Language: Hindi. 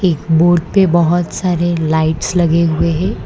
बोर्ड पे बहुत सारी लाइट्स लगी हुई है।